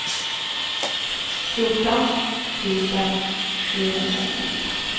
fjorton tusen sjuhundranittiofyra